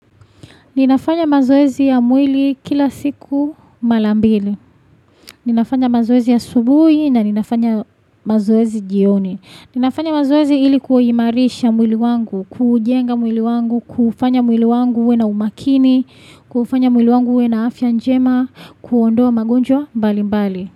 Ninafanya mazoezi ya mwili kila siku malambili. Ninafanya mazoezi ya asubuhi na ninafanya mazoezi jioni. Ninafanya mazoezi ili kuhimarisha mwili wangu, kujenga mwili wangu, kufanya mwili wangu uwe na umakini, kufanya mwili wangu uwe na afya njema, kuondoa magonjwa mbali mbali.